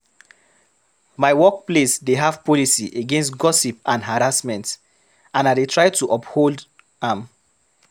My workplace dey have policy against gossip and harassment, and I dey try to uphold am.